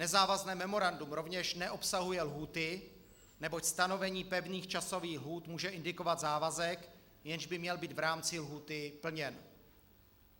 Nezávazné memorandum rovněž neobsahuje lhůty, neboť stanovení pevných časových lhůt může indikovat závazek, jenž by měl být v rámci lhůty plněn.